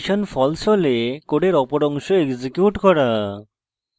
condition false হলে code অপর অংশ এক্সিকিউট করা